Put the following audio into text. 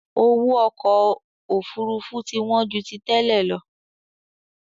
Owó ọkọ Òfurufú ti wọn ju tí tẹ́lẹ̀ lọ